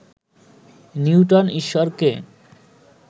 Newton ঈশ্বরকে